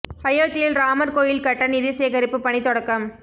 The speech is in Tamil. அயோத்தியில் ராமா் கோயில் கட்ட நிதி சேகரிப்பு பணி தொடக்கம்